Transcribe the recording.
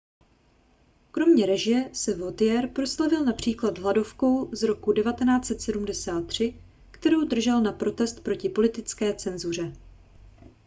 kromě režie se vautier proslavil například hladovkou z roku 1973 kterou držel na protest proti politické cenzuře